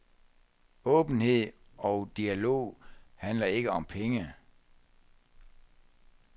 Åbenhed og dialog handler ikke om penge.